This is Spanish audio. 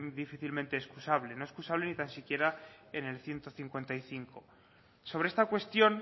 difícilmente excusable no excusable ni tan siquiera en el ciento cincuenta y cinco sobre esta cuestión